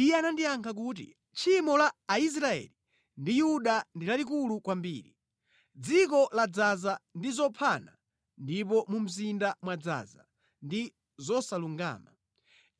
Iye anandiyankha kuti, “Tchimo la Aisraeli ndi Yuda ndi lalikulu kwambiri; dziko ladzaza ndi zophana ndipo mu mzinda mwadzaza ndi zosalungama.